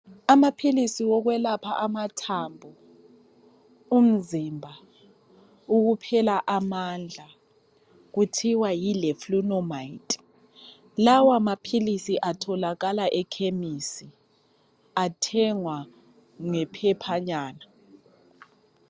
Amaphilisi okwelaphela amathambo umzimba, ukuphela amandla, kuthiwa yi leflunomide. Lawa maphilisi atholakala ekhemisi, athengwa ngephephanyana.